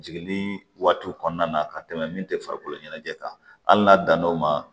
Jiginni waatiw kɔnɔna na ka tɛmɛ min tɛ farikolo ɲɛnajɛ kan hali n'a dann'o ma